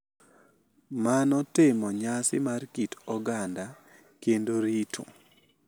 Mano timo nyasi mar kit oganda kendo rito